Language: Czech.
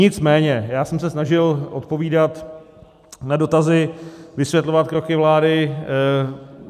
Nicméně já jsem se snažil odpovídat na dotazy, vysvětlovat kroky vlády.